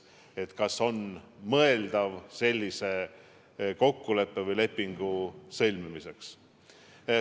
Oli arutelu, kas on mõeldav sellise kokkuleppe või lepingu sõlmimine.